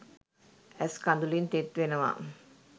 ඇස් කදුළින් තෙත් වෙනවා.